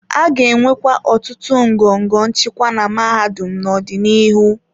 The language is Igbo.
A ga-enwe ọtụtụ ngọngọ nchịkwa na mahadum n'ọdịnihu.